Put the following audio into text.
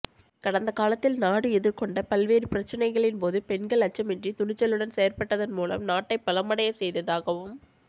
கடந்த காலத்தில் நாடு எதிர்கொண்ட பல்வேறு பிரச்சினைகளின் போது பெண்கள் அச்சமின்றி துணிச்சலுடன் செயற்பட்டதன் மூலம் நாட்டை பலமடையச் செய்ததாகவும்